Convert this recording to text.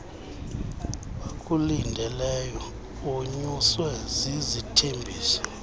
bakulindeleyo wonyuswe zizithembiso